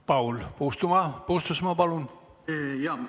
Paul Puustusmaa, palun!